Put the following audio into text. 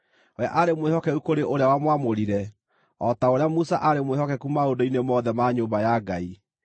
We aarĩ mwĩhokeku kũrĩ ũrĩa wamwamũrire, o ta ũrĩa Musa aarĩ mwĩhokeku maũndũ-inĩ mothe ma nyũmba ya Ngai.